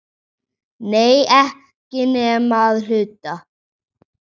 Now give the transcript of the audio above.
Nei, ekki nema að hluta.